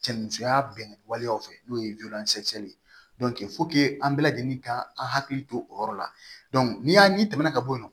Cɛn musoya bɛn waleyaw fɛ n'o ye ye an bɛɛ lajɛlen ka an hakili to o yɔrɔ la ni y'a ɲɛ tɛmɛna ka bɔ yen nɔ